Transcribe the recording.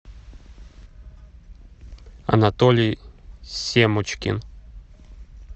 анатолий семочкин